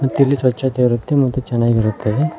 ಮತ್ತಿಲ್ಲಿ ಸ್ವಚ್ಛತೆ ಇರುತ್ತೆ ಮತ್ತು ಚೆನ್ನಾಗಿರುತ್ತದೆ.